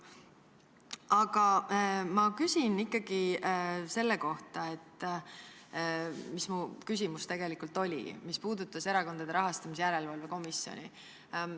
Aga ma küsin ikkagi selle kohta, mis minu küsimus tegelikult oli, mis puudutab Erakondade Rahastamise Järelevalve Komisjoni.